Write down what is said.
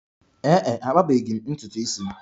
Ee e, akpabeghi m ntutu isi m.